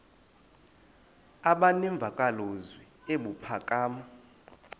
aba nemvakalozwi ebuphakama